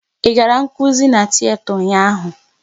Ị gara nkụzi n'tiyeta ụnyaahụ?